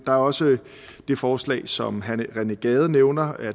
der er også det forslag som herre rené gade nævner